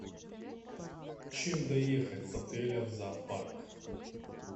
чем доехать с отеля в зоопарк